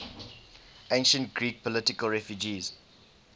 ancient greek political refugees